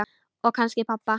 Og kannski pabba.